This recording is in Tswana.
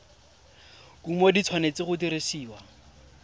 kumo di tshwanetse go dirisiwa